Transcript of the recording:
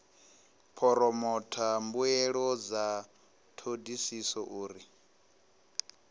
phoromotha mbuelo dza thodisiso uri